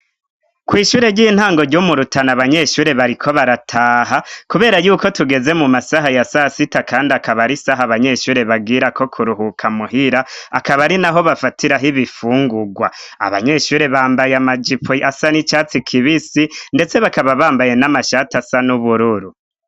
Kw'ishure ry'intango ryo mu Rutana, abanyeshure bariko barataha kubera yuko tugeze mu masaha ya sasita kandi akaba ari isaha abanyeshure bagirako kuruhuka muhira, akaba ari naho bafatiraho ibifungugwa. Abanyeshure bambaye amajipo asa n'icatsi kibisi ndetse bakaba bambaye n'amashati asa n'ubururu.